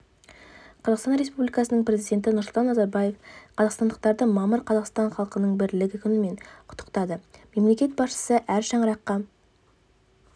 қазақстан республикасының президенті нұрсұлтан назарбаев қазақстандықтарды мамыр қазақстан халқының бірлігі күнімен құттықтады мемлекет басшысы әр шаңыраққа